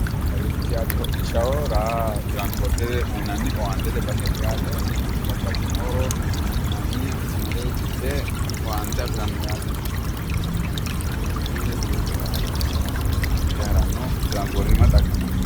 Kawiichi yaate hodhishshaho raa transpoortete uuyinanni owaantete baseeti yaate. Babbaxino manni hakko mare gidde owaante afiranno dargaati yaate. Owaante afiranno dargaati tiraansipoortete horonsiranno yaate.